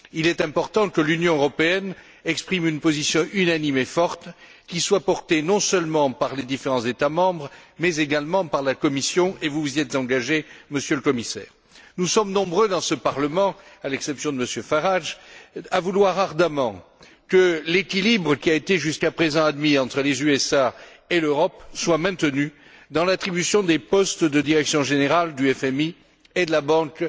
Il est important que l'Union européenne exprime une position unanime et forte qui soit portée non seulement par les différents États membres mais également par la Commission, et vous vous y êtes engagé, Monsieur le Commissaire. Nous sommes nombreux dans ce Parlement, à l'exception de Monsieur Farage, à vouloir ardemment que l'équilibre qui a été jusqu'à présent admis entre les États Unis et l'Europe soit maintenu dans l'attribution des postes de direction générale du FMI et de la Banque